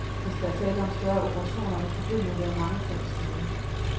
Hvis der er tale om større operationer, vil problemet være mangefold større.